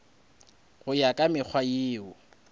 go ya ka mekgwa yeo